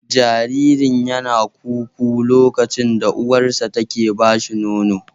Jaririn yana ku-ku lokaci da uwarsa take ba shi nono